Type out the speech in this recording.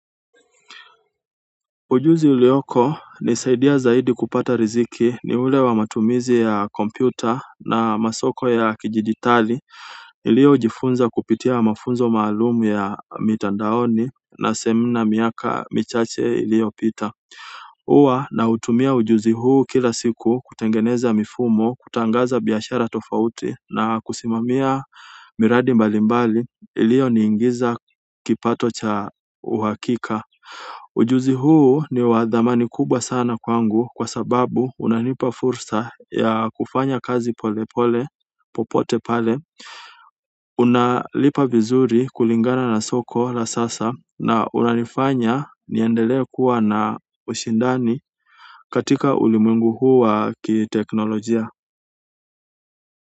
Ujuzi uliokonisaidia zaidi kupata riziki ni ule wa matumizi ya kompyuta na masoko ya kidijitali. Niliojifunza kupitia mafunzo maalumu ya mitandaoni na semina miaka michache iliyopita. Huwa nautumia ujuzi huu kila siku kutengeneza mifumo, kutangaza biashara tofauti na kusimamia miradi mbalimbali iliyoniingiza kipato cha uhakika. Ujuzi huu ni wa thamani kubwa sana kwangu kwa sababu unanipa fursa ya kufanya kazi polepole popote pale. Unalipa vizuri kulingana na soko la sasa na unanifanya niendelee kuwa na ushindani katika ulimwengu huu wa kiteknolojia.